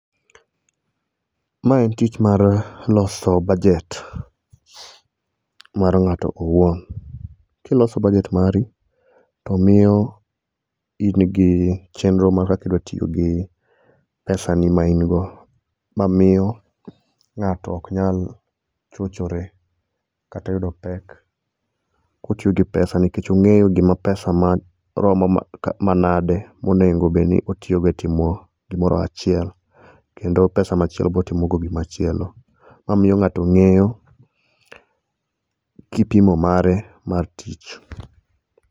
maen tich mar loso budget mar ngato owuon kiloso budget mari to ,miyo in gi chendro mar kaka idwa tiyo gi pesa ni main go mamiyo ngato ok nyal chochore kata oyudo pek kotiyo gi pesa nikech ongeyo gima pesa maromo manade monengo bedni otiyogo e timo gimoro achiel kendo pesa machielo botimo go gimachielo mamiyo ngato ngeyo kipimo mare mar tich